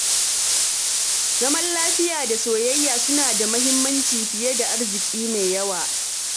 Zaman lafiya da soyayya suna da mahimmanci fiye da arziki mai yawa.